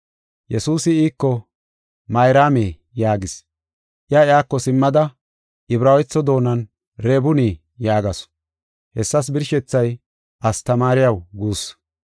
Yesuusi iiko, “Mayraame” yaagis. Iya iyako simmada, Ibraawetho doonan “Rebuuni” yaagasu. Hessas birshethay “Astamaariyaw” guussu.